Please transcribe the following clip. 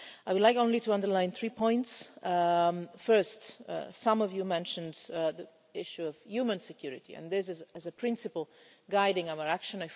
I would like only to underline three points. First, some of you mentioned the issue of human security, and this is a principle guiding our action.